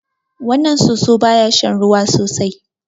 Wannan soso ba ya shan ruwa sosai.